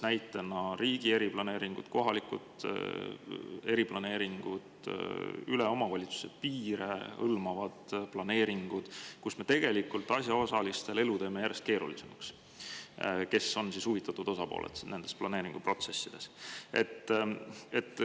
Näiteks võib tuua kohalikud eriplaneeringud, omavalitsuste piire ületavad planeeringud, kus me tegelikult teeme asjaosaliste elu järjest keerulisemaks, kuigi nad on huvitatud osapooled nendes planeeringuprotsessides.